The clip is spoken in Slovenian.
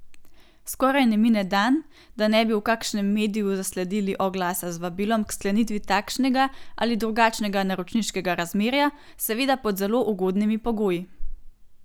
Skoraj ne mine dan, da ne bi v kakšnem mediju zasledili oglasa z vabilom k sklenitvi takšnega ali drugačnega naročniškega razmerja, seveda pod zelo ugodnimi pogoji.